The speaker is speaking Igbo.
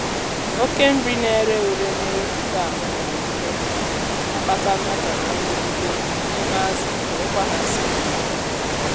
oke nri na-èré ùré na-ewepụta ammonia n'ime mmiri na-akpata mmetọ na nrụgide n’ime azụ enyekwa ha nsogbu